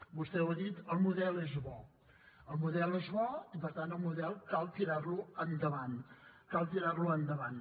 vostè ho ha dit el model és bo el model és bo i per tant el model cal tirar lo endavant cal tirar lo endavant